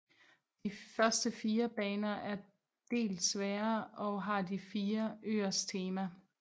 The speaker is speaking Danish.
De første fire baner er del sværere og har de fire øers temaer